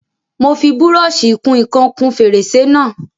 Mo fi búrọ́ṣì ìkun ìkan kún fèrèsé náà.